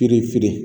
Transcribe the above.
Kiri feere